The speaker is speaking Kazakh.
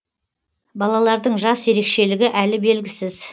балалардың жас ерекшелігі әлі белгісіз